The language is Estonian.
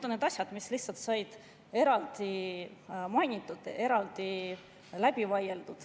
Need asjad said lihtsalt eraldi mainitud ja eraldi läbi vaieldud.